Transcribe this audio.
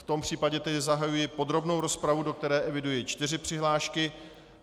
V tom případě tedy zahajuji podrobnou rozpravu, do které eviduji čtyři přihlášky.